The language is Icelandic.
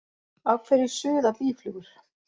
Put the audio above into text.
Af hverju suða býflugur?